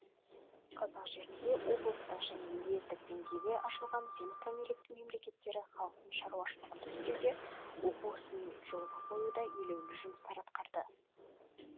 қазақ жерінде облыстық және уездік деңгейде ашылған земство мекемелері халықтың шаруашылығын реттеуде оқу ісін жолға қоюда елеулі жұмыстар атқарды